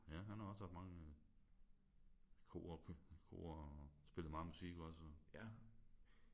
Ja han har også haft mange kor kor og spillet meget musik også